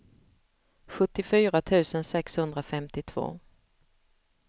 sjuttiofyra tusen sexhundrafemtiotvå